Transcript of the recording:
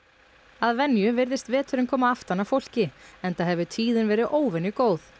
að venju virðist veturinn koma aftan að fólki enda hefur tíðin verið óvenjugóð